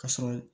Ka sɔrɔ